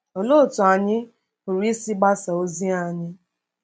Olee otú anyị pụrụ isi gbasaa ozi anyị?